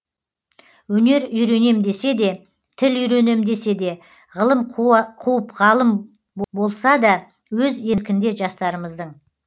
өнер үйренем десе де тіл үйренем десе де ғылым қуып ғалым болса да өз еркінде жастарымыздың